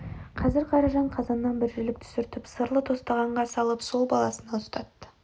қазір қаражан қазаннан бір жілік түсіртіп сырлы тостағанға салып сол баласына ұстатты